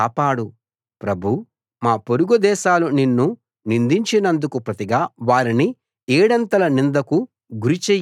ప్రభూ మా పొరుగు దేశాలు నిన్ను నిందించినందుకు ప్రతిగా వారిని ఏడంతల నిందకు గురి చెయ్యి